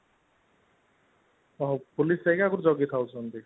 ଓଃ ହୋ police ଆଜ୍ଞା ଜଗିଥାଉଛନ୍ତି